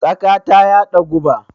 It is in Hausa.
Tsaka ta yaɗa guba.